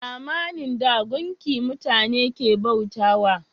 A zamanin da, gumki mutane ke bauta wa